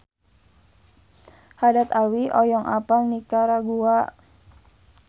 Haddad Alwi hoyong apal Nikaragua